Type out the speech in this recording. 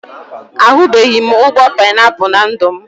Ahubeghi m ụgbọ painiapụl na ndụ m